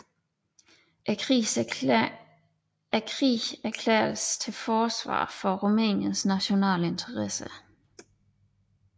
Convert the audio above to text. Krigen erklæredes til forsvar for Rumæniens nationale interesser